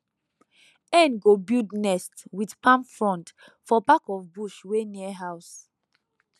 hen go build nest with palm frond for back of bush wey near house